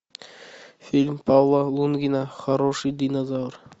фильм павла лунгина хороший динозавр